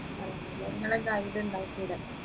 നിങ്ങളെന്താ ഇതുണ്ടാ